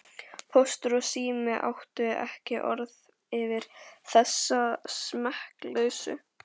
Póstur og Sími áttu ekki orð yfir þessa smekkleysu.